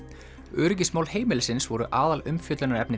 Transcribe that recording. öryggismál heimilisins voru aðalumfjöllunarefni